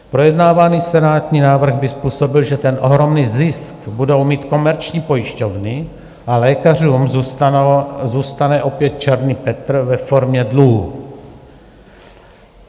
Projednávaný senátní návrh by způsobil, že ten ohromný zisk budou mít komerční pojišťovny a lékařům zůstane opět Černý Petr ve formě dluhů.